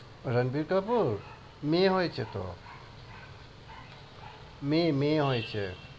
রানবীর কাপুর? মেয়ে হয়েছে তো। মেয়ে, মেয়ে হয়েছে।